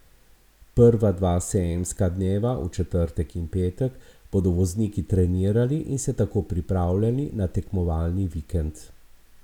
Prva dva sejemska dneva, v četrtek in petek, bodo vozniki trenirali in se tako pripravljali na tekmovalni vikend.